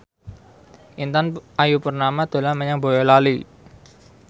Intan Ayu Purnama dolan menyang Boyolali